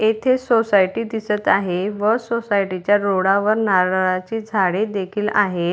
येथे सोसायटी दिसत आहे व सोसायटीच्या रोडावर नारळाचे झाडे देखील आहे.